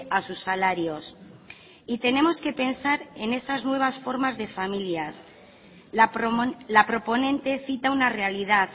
a sus salarios y tenemos que pensar en esas nuevas formas de familias la proponente cita una realidad